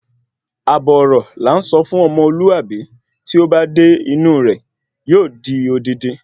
Ààbò ọrọ làá sọ fún ọ̀mọ́lùábí tí ó ba dé inú rẹ̀ yóò di odidi